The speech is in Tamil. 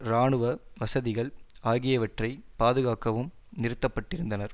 இராணுவ வசதிகள் ஆகியவற்றை பாதுகாக்கவும் நிறுத்தபட்டிருந்தனர்